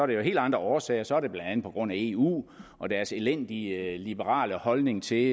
det er af helt andre årsager så er det blandt andet på grund af eu og deres elendige liberale holdning til